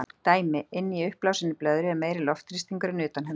Dæmi: Inni í uppblásinni blöðru er meiri loftþrýstingur en utan hennar.